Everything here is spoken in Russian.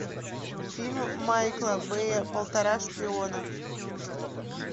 фильм майкла бэя полтора шпиона